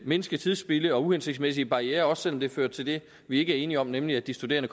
mindske tidsspilde og uhensigtsmæssige barrierer også selv om det fører til det vi ikke er enige om nemlig at de studerende